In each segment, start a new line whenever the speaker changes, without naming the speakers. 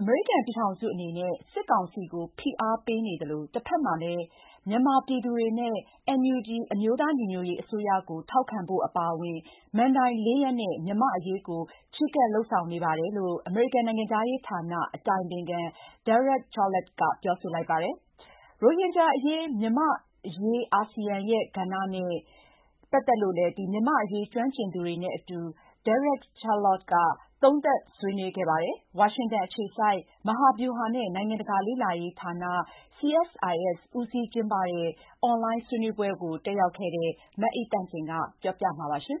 အမေရိကန်ပြည်ထောင်စုက စစ်ကောင်စီကို ဖိအားပေးရင်း မြန်မာပြည်သူတွေနဲ့ NUG အစိုးရထောက်ခံဖို့ အပါအဝင် မဏ္ဍိုင် ၄ ရပ်နဲ့ မြန်မာ့အရေးကို ချဉ်းကပ်လုပ်ဆောင်နေပါတယ်လို့ အမေရိကန်နိုင်ငံခြားရေးဌာန အတိုင်ပင်ခံ Derek Chollet က ပြောဆိုလိုက်ပါတယ်။ ရိုဟင်ဂျာအရေး၊ မြန်မာ့အရေး အာဆီယံရဲ့ကဏ္ဍ နဲ့ ပတ်သက်လို့ မြန်မာ့အရေးကျွမ်းကျင်သူတွေနဲ့အတူ Derek Chollet က သုံးသပ်ဆွေးနွေးခဲ့ပါတယ်။ ဝါရှင်တန်အခြေစိုက် ဗဟာဗျူဟာနဲ့ နိုင်ငံတကာလေ့လာရေးဌာန CSIS ဦးစီးကျင်းပတဲ့ အွန်လိုင်းဆွေးနွေးပွဲတက်ရောက်ခဲ့တဲ့ မအိသန့်စင်က တင်ဆက်ထားပါတယ်။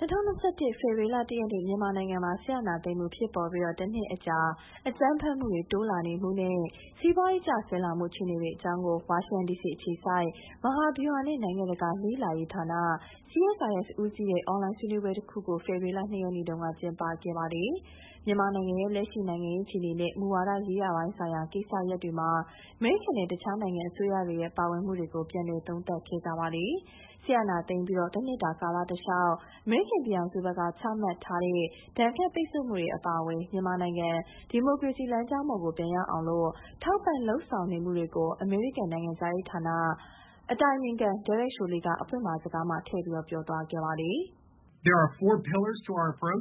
၂၀၂၁ ဖေဖော်ဝါရီလ ၁ ရက်နေ့ မြန်မာနိုင်ငံမှာ စစ်အာဏာသိမ်းမှုဖြစ်ပေါ်ပြီး တနှစ်အကြာ အကြမ်းဖက်မှုတိုးလာမှုနဲ့ စီးပွားရေး ကျဆင်းလာမှု အခြေအနေတွေအကြောင်းကို ဝါရှင်တန်ဒီစီအခြေစိုက် မဟာဗျူဟာနဲ့ နိုင်ငံတကာလေ့လာရေးဌာန CSIS ဦးစီးတဲ့ အွန်လိုင်းဆွေးနွေးပွဲတခုကို ဖေဖော်ဝါရီလ ၂ ရက်နေ့မှာ ကျင်းပခဲ့ပါတယ်။ မြန်မာနိုင်ငံရဲ့ လက်ရှိနိုင်ငံရေး အခြေအနေနဲ့ မူဝါဒရေးရာပိုင်းဆိုင်ရာ ကိစ္စရပ်တွေမှာ အမေရိကန်နဲ့ တခြားနိုင်ငံအစိုးရတွေရဲ့ ပါဝင်မှုတွေကို ပြန်လည်သုံးသပ်ခဲ့ကြပါတယ်။ စစ်အာဏာသိမ်းပြီး တနှစ်တာကာလတလျှောက် အမေရိကန်ပြည်ထောင်စုဖက်က ချမှတ်ထားတဲ့ ဒဏ်ခတ်ပိတ်ဆို့မှုတွေ အပါအဝင် မြန်မာနိုင်ငံ ဒီမိုကရေစီလမ်းကြောင်းပေါ်ကို ပြန်ရောက်အောင် ထောက်ပံ့လုပ်ဆောင်နေမှုတွေကို အမေရိကန်နိုင်ငံခြားရေးဌာန အတိုင်ပင်ခံ Derek Chollet က အဖွင့်အမှာစကားမှာ ထည့်ပြောခဲ့ပါတယ်။
“အမေရိကန်ပြည်ထောင်စုအနေ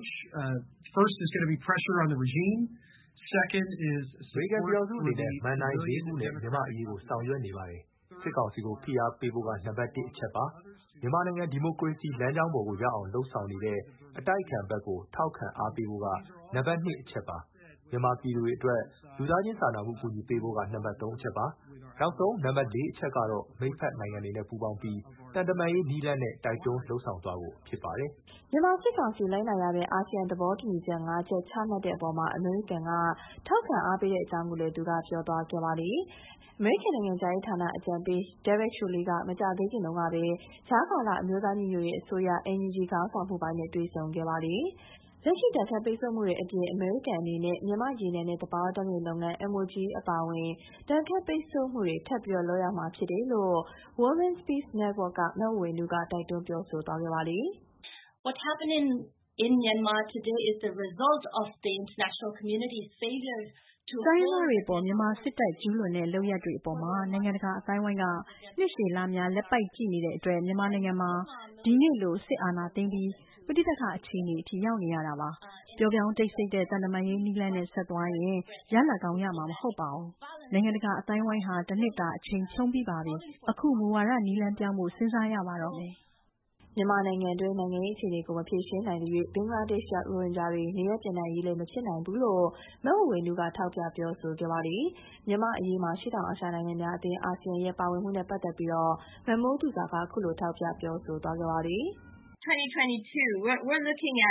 နဲ့ မဏ္ဍိုင် ၄ ခုနဲ့ မြန်မာ့အရေးကို ဆောင်ရွက်နေပါတယ်။ စစ်ကောင်စီကို ဖိအားပေးဖို့က နံပတ် တစ် အချက်ပါ။ မြန်မာနိုင်ငံ ဒီမိုကရေစီလမ်းကြောင်းပေါ်ကို ရောက်အောင်လုပ်ဆောင်နေတဲ့ အတိုက်အခံဖက်ကို ထောက်ခံအားပေးဖို့က နံပတ် ၂အချက်ပါ။ မြန်မာပြည်သူတွေအတွက် လူသားချင်းစာနာမှုအကူအညီပေးဖို့က နံပတ် ၃ အချက်ပါ။ နောက်ဆုံး နံပတ် ၄ အချက်ကတော့ မိတ်ဖက်နိုင်ငံတွေနဲ့ ပူးပေါင်းပြီး သံတမန်ရေးနည်းလမ်းနဲ့ တိုက်တွန်းလုပ်ဆောင်သွားဖို့ဖြစ်ပါတယ်။
” မြန်မာစစ်ကောင်စီလိုက်နာရမယ့် အာဆီယံသဘောတူညီချက် ၅ ချက် ချမှတ်တဲ့အပေါ် အမေရိကန်က ထောက်ခံအားပေးကြောင်းလည်း သူက ပြောသွားခဲ့တာပါ။ အမေရိကန်နိုင်ငံခြားရေးအကြံပေး Chollet က မကြာသေးခင်တုံးကပဲ ကြားကာလအမျိုးသားညီညွတ်ရေးအစိုးရ NUG ခေါင်းဆောင်မှုပိုင်းနဲ့လည်း တွေ့ဆုံခဲ့ပါတယ်။ လက်ရှိဒဏ်ခတ်ပိတ်ဆို့မှုတွေအပြင် အမေရိကန်ပြည်ထောင်စုအနေနဲ့ မြန်မာ့ရေနံနဲ့သဘာဝဓာတ်ငွေ့လုပ်ငန်း MOGE အပါအဝင် ဒဏ်ခတ်ပိတ်ဆို့မှုတွေ ထပ်လုပ်ရမှာဖြစ်တယ်လို့ Women’s Peace Network in Myanmar က မဝေေ၀နုက တိုက်တွန်းပြောဆိုသွားပါတယ်။
“ တိုင်းရင်းသားတွေအပေါ် မြန်မာစစ်တပ် ကျူးလွန်တဲ့ လုပ်ရပ်တွေအပေါ်မှာ နိုင်ငံတကာအသိုင်းအဝိုင်းက နှစ်ရှည်လများ လက်ပိုက်ကြည့်နေတဲ့အတွက် မြန်မာနိုင်ငံမှာ ဒီနေ့လို စစ်အာဏာသိမ်းပြီး ပဋိပကအခြေအနေထိ ရောက်နေရတာပါ။ ပျော့ပြောင်း တိတ်ဆိတ်တဲ့ သံတမန်ရေးနည်းလမ်းနဲ့ ဆက်သွားရင်
ရလဒ်ကောင်းရမှာ မဟုတ်ပါဘူး။ နိုင်ငံတကာအသိုင်းအဝိုင်းဟာ တနှစ်တာ အချိန်ဖြုန်းပြီးပါပြီ။ အခု မူဝါဒနည်းလမ်းပြောင်းဖို့ စဉ်းစားရပါတော့မယ်။” မြန်မာနိုင်ငံတွင်းက နိုင်ငံရေးအခြေအနေကို မဖြေရှင်းနိုင်သရွေ့ ဘင်္ဂလားဒေ့ရှ်ရောက် ရိုဟင်ဂျာတွေ နေရပ်ပြန်နိုင်ရေးလည်း မဖြစ်နိုင်ဘူးလို့ မဝေေ၀နုက ထောက်ပြပြောဆိုခဲ့ပါတယ်။ မြန်မာ့အရေးမှာ အရှေ့တောင်အာရှနိုင်ငံများအသင်း အာဆီယံရဲ့ ပါဝင်မှုနဲ့ပတ်သက်ပြီး မမိုးသူဇာက အခုလို ထောက်ပြပြောဆိုခဲ့ပါတယ်။ “၂၀၂၁ ခုနှစ်မှာ မြန်မာန
ိုင်င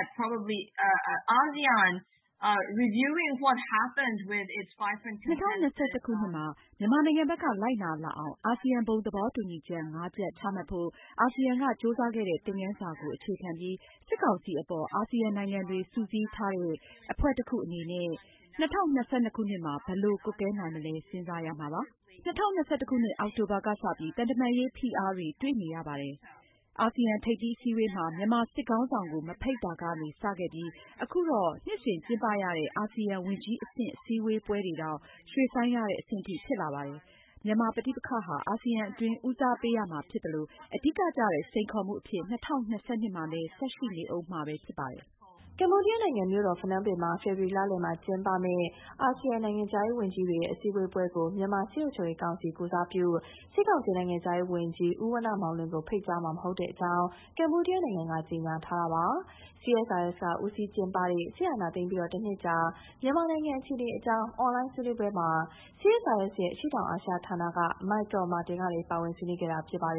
ံဖက်က လိုက်နာလာအောင် အာဆီယံဘုံသဘောတူညီချက် ၅ ချက် ချမှတ်ဖို့ အာဆီယံက ကြိုးစားခဲ့တဲ့ သင်ခန်းစာကို အခြေခံပြီး စစ်ကောင်စီအပေါ် အာဆီယံနိုင်ငံတွေစုစည်းထားတဲ့အဖွဲ့တခုအနေနဲ့ ၂၀၂၂ ခုနှစ်မှာ ဘယ်လို ကွပ်ကဲနိုင်မလဲ စဉ်းစားရမှာပါ။ ၂၀၂၁ ခုနှစ် အောက်တိုဘာကစပြီး သံတမန်ရေးဖိအားတွေ တွေ့နေရတာပါ။ အာဆီယံထိပ်သီးအစည်းအဝေးမှာ မြန်မာစစ်ခေါင်းဆောင်ကို မဖိတ်တာကနေစခဲ့ပြီး အခုတော့ နှစ်စဉ်ကျင်းပရတဲ့ အာဆီယံဝန်ကြီးအဆင့် အစည်းအဝေးပွဲတောင် ရွှေ့ဆိုင်းရတဲ့ အဆင့်အထိ ဖြစ်လာပါတယ်။ မြန်မာပဋိပက္ခဟာ အာဆီယံအတွင်း ဦးစားပေးရမှာဖြစ်သလို အဓိကကျတဲ့ စိန်ခေါ်မှုအဖြစ် ၂၀၂၂ မှာလည်း ဆက်ရှိနေဦးမှာပဲ ဖြစ်ပါတယ်။”
ကမ္ဘောဒီးယားနိုင်ငံ၊ ဖနွမ်းပင်မြို့မှာ ဖေဖော်ဝါရီလလယ်မှာ ကျင်းပမယ့် အာဆီယံ နိုင်ငံခြားရေးဝန်ကြီးတွေရဲ့ အစည်းအဝေးပွဲကို မြန်မာစစ်အုပ်ချုပ်ရေးကောင်စီ ကိုယ်စားပြု စစ်ကောင်စီနိုင်ငံခြားရေးဝန်ကြီး ဦးဝဏ္ဏမောင်လွင်ကို ဖိတ်ကြားမှာမဟုတ်ဘူးလို့ ကမ္ဘောဒီးယားနိုင်ငံက ကြေညာထားတာပါ။ CSIS က ဦးစီးကျင်းပတဲ့ စစ်အာဏာသိမ်းပြီးတနှစ်ကြာ မြန်မာအခြေအနေအကြောင်း အွန်လိုင်းဆွေးနွေးပွဲမှာ CSIS ရဲ့ အရှေ့တောင်အာရှဌာနက Michael Martin က ပါဝင်ဆွေးနွေးခဲ့တာ ဖြစ်ပါ